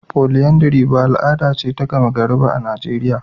Polyandry ba al'ada ce ta gama gari a Najeriya ba.